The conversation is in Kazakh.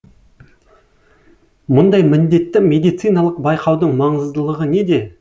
мұндай міндетті медициналық байқаудың маңыздылығы неде